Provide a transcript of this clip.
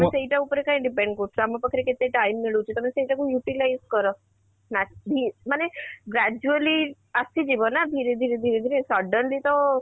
ତମେ ସେଇଟା ଉପରେ କାଇଁ depend କରୁଛ , ଆମ ପାଖରେ କେତେ time ମିଳୁଛି ତମେ ସେଇଟା କୁ utilize କର ମାନେ gradually ଆସିଯିବ ନା ଧୀରେ ଧୀରେ ଧୀରେ ଧୀରେ suddenly ତ